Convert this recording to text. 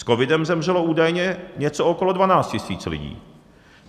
S covidem zemřelo údajně něco okolo 12 000 lidí.